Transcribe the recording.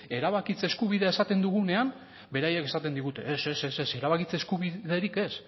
erabakitze eskubidea esaten dugunean beraiek esaten digute ez ez ez ez erabakitze eskubiderik ez